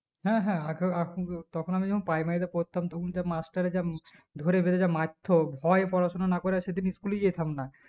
হ্যাঁ হ্যাঁ আগেএখন আহ তখন আমি যেকোন primary তে পড়তাম তখন যা মাস্টারে যা ধরেবেঁধে যা মারতো ভয়ে পড়াশোনা না করে সেদিন school এ যেতাম না